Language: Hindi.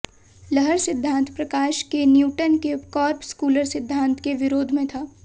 लहर सिद्धांत प्रकाश के न्यूटन के कॉर्पस्कुलर सिद्धांत के विरोध में था